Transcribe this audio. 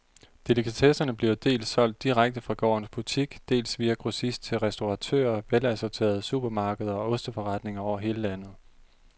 Delikatesserne bliver dels solgt direkte fra gårdens butik, dels via grossist til restauratører, velassorterede supermarkeder og osteforretninger over hele landet.